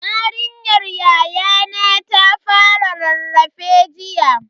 Yarinyar yayana ta fara rarrafe jiya.